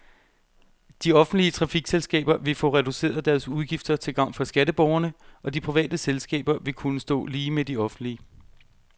De offentlige trafikselskaber vil få reduceret deres udgifter til gavn for skatteborgerne, og de private selskaber vil kunne stå lige med de offentlige.